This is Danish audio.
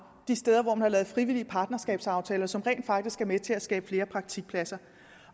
de steder hvor man har lavet frivillige partnerskabsaftaler som rent faktisk er med til at skabe flere praktikpladser